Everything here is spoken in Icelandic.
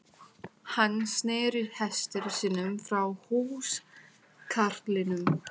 Hann sneri hesti sínum frá húskarlinum.